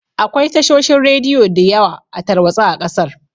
Akwai tashoshin radiyo diyawa a tarwatsa a ƙasar